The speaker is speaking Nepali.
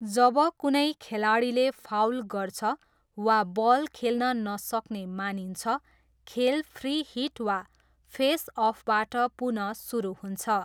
जब कुनै खेलाडीले फाउल गर्छ वा बल खेल्न नसक्ने मानिन्छ, खेल फ्री हिट वा फेस अफबाट पुनः सुरु हुन्छ।